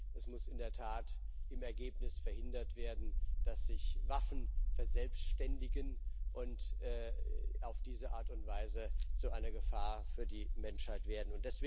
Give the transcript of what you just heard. Es muss in der Tat im Ergebnis verhindert werden, dass sich Waffen verselbständigen und auf diese Art und Weise zu einer Gefahr für die Menschheit werden.